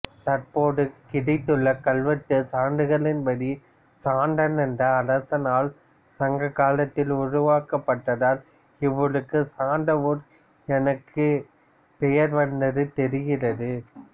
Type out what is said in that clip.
தற்போது கிடைத்துள்ள கல்வெட்டு சான்றுகளின்படி சந்தன் என்ற அரசனால் சங்ககாலத்தில் உருவாக்கப்பட்டதால் இவ்வூருக்கு சந்தவூர் எனக்கு பெயர் வந்தது தெரிகிறது